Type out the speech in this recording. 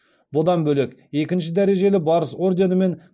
бұдан бөлек екінші дәрежелі барыс орденімен